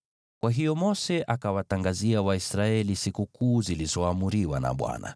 Kwa hiyo Mose akawatangazia Waisraeli sikukuu zilizoamriwa na Bwana .